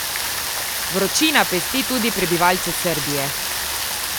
Vročina pesti tudi prebivalce Srbije.